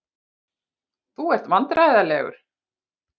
Þú ert vandræðalegur.